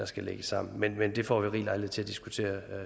skal lægges sammen men men det får vi rig lejlighed til at diskutere